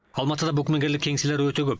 алматыда букмекерлік кеңселер өте көп